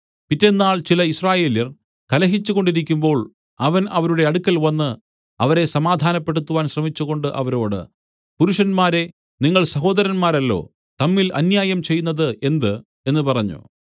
പിറ്റെന്നാൾ ചില യിസ്രായേല്യർ കലഹിച്ചുകൊണ്ടിരിക്കുമ്പോൾ അവൻ അവരുടെ അടുക്കൽവന്ന് അവരെ സമാധാനപ്പെടുത്തുവാൻ ശ്രമിച്ചുകൊണ്ട് അവരോട് പുരുഷന്മാരെ നിങ്ങൾ സഹോദരന്മാരല്ലോ തമ്മിൽ അന്യായം ചെയ്യുന്നത് എന്ത് എന്ന് പറഞ്ഞു